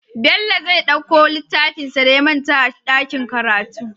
Bello zai ɗauko littafinshi da ya manta a dakin karatu